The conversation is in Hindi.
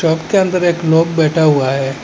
शॉप के अंदर एक लोग बैठा हुआ है।